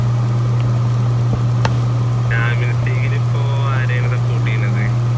champions league ഇൽ ഇപ്പൊ ആരെയാണ് support ചെയ്യുന്നത്?